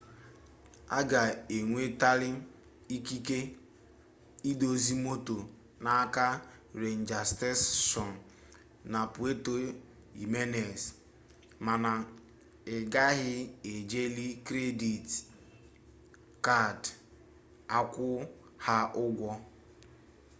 a ga-enwetali ikike idọsa moto n'aka renja steshọn na puerto jimenez mana ị gaghị ejili kredit kad akwụ ha ụgwọ